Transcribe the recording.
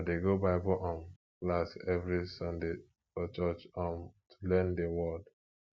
i dey go bible um class every sunday for church um to learn the word